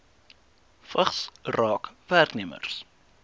vigs raak werknemers